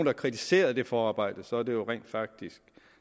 har kritiseret det forarbejde så er det jo rent faktisk